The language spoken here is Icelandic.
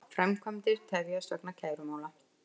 Framkvæmdir tefjast vegna kærumála